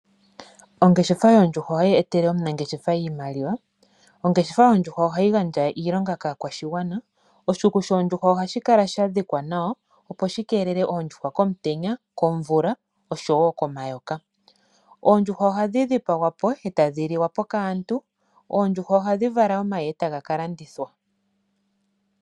Ongeshefa yoondjuhwa ohayi etele omunangeshefa iimaliwa. Ongeshefa yoondjuhwa ohayi gandja iilonga kaakwashigwana. Oshikuku shoondjuhwa ohashi kala sha dhikwa nawa, opo shi keelele oondjuhwa komutenya, komvula oshowo komayoka. Oondjuhwa ohadhi dhipagwa po e tadhi liwa po kaantu. Oondjuhwa ohadhi vala omayi e taga ka landithwa.